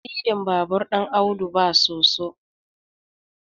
siddin babur ɗin Audu ba soso